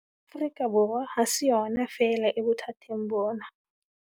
Afrika Borwa ha se yona feela e bothateng bona.